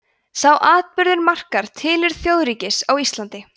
sá atburður markar tilurð þjóðríkis á íslandi